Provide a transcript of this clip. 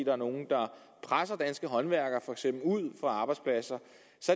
er nogle der presser danske håndværkere ud fra arbejdspladser